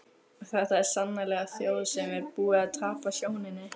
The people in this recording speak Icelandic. Þetta var sannarlega þjóð sem var búin að tapa sjóninni.